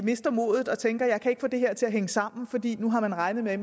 mister modet og tænker at kan få det her til at hænge sammen fordi de nu har regnet med at